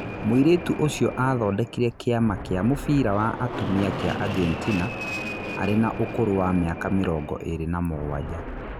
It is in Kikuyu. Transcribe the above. Mũirĩtu ũcio athondekire kĩama kĩa mũbira wa atumia kĩa Agentina arĩ na ũkũrũ wa mĩaka mĩrongo ĩrĩ na mũgwanja.